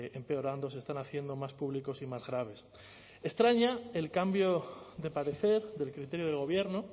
empeorando se están haciendo más públicos y más graves extraña el cambio de parecer del criterio del gobierno